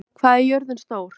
Elenóra, hvað er jörðin stór?